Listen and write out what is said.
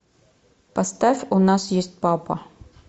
поставь у нас есть папа